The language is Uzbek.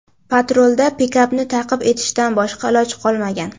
Patrulda pikapni ta’qib etishdan boshqa iloj qolmagan.